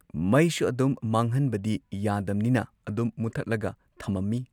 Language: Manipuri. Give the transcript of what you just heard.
ꯃꯩꯁꯨ ꯑꯗꯨꯝ ꯃꯥꯡꯍꯟꯕꯗꯤ ꯌꯥꯗꯝꯅꯤꯅ ꯑꯗꯨꯝ ꯃꯨꯊꯠꯂꯒ ꯊꯝꯃꯝꯃꯤ꯫